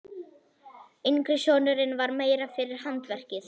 Yngri sonurinn var meira fyrir handverkið.